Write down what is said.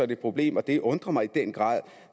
det et problem og det undrer mig i den grad